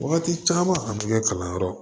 Wagati caman a tɛ kɛ kalanyɔrɔ